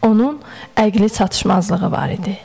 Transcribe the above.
Onun əqli çatışmazlığı var idi.